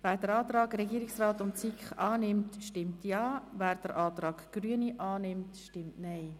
Wer den Antrag Regierungsrat/SiK annimmt, stimmt Ja, wer den Antrag Grüne annimmt, stimmt Nein.